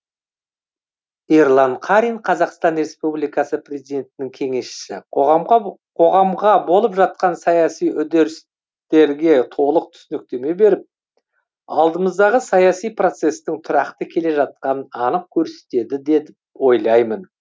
ерлан қарин қазақстан республикасы президентінің кеңесшісі қоғамға болып жатқан саяси үрдістерге толық түсініктеме беріп алдымыздағы саяси процесстің тұрақты келе жатқанын анық көрсетеді деп ойлаймын